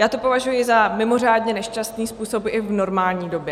Já to považuji za mimořádně nešťastný způsob i v normální době.